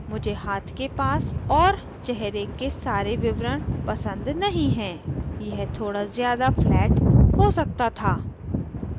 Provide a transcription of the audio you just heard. मुझे हाथ के पास और चेहरे के सारे विवरण पसंद नहीं हैं यह थोड़ा ज़्यादा flat हो सकता था